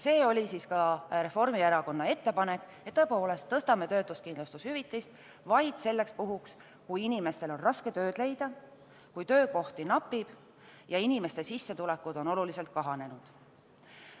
See oli ka Reformierakonna ettepanek, et tõstame töötuskindlustushüvitist tõepoolest vaid selleks puhuks, kui inimestel on raske tööd leida, kui töökohti napib ja inimeste sissetulekud on oluliselt kahanenud.